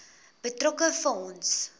betrokke fonds